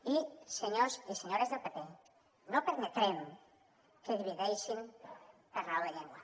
i senyors i senyores del pp no permetrem que divideixin per raó de llengua